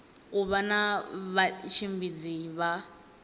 u vha na vhatshimbidzi vha